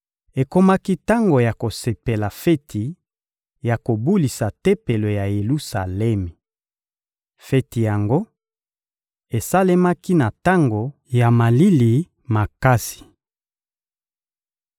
Ekomaki tango ya kosepela feti ya Kobulisa Tempelo ya Yelusalemi. Feti yango esalemaki na tango ya malili makasi.